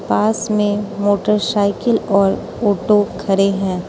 पास में मोटरसाइकिल और ऑटो खड़े हैं।